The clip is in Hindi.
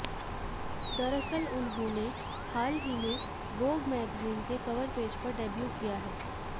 दरअसल उन्होंने हाल ही में वोग मैगजीन के कवर पेज पर डेब्यू किया है